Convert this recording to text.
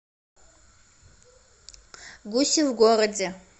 гуси в городе